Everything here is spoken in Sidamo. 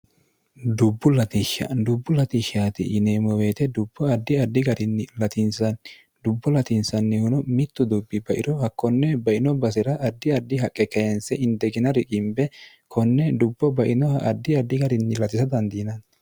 dbbulsdubbu latishshaati yineemmoweete dubbo addi addi garinni latiinsnni dubbo latiinsannihuno mittu dubbi bairo hakkonne baino basira addi addi haqqe kainse indegina rigimbe konne dubbo bainoha addi addi garinni latisha dandiinanti